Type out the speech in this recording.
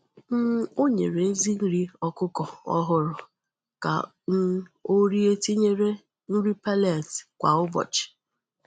um O nyere ezi nri ọkụkọ ọhụrụ ka um o rie tinyere nri pellets kwa ụbọchị.